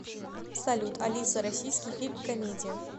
салют алиса российский фильм комедия